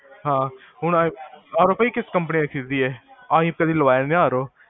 ਹਾਂ, ਹੁਣ RO ਭਾਈ ਕਿਸ ਕੰਪਨੀ ਦਾ ਖ਼੍ਰੀਦੀਏ, ਅਸੀਂ ਕਦੀ ਖਰੀਦਿਆ ਨਹੀਂ RO